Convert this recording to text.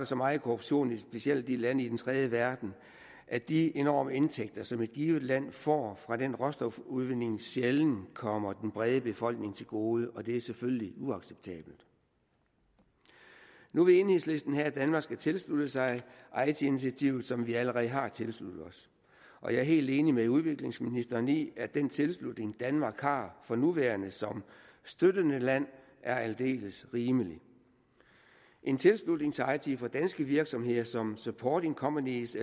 så meget korruption i specielt landene i den tredje verden at de enorme indtægter som et givet land får fra den råstofudvinding sjældent kommer den brede befolkning til gode og det er selvfølgelig uacceptabelt nu vil enhedslisten have at danmark skal tilslutte sig eiti initiativet som vi allerede har tilsluttet os og jeg er helt enig med udviklingsministeren i at den tilslutning danmark har for nuværende som støttende land er aldeles rimelig en tilslutning til eiti for danske virksomheder som supporting companies